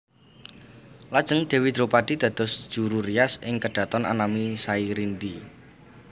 Lajeng Dèwi Dropadi dados juru rias ing kedhaton anami Sairindi